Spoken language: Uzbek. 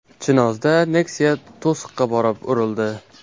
Chinozda Nexia to‘siqqa borib urildi .